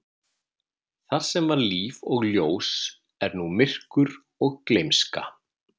Þar sem var líf og ljós er nú myrkur og gleymska.